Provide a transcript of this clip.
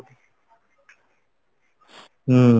ସେଟା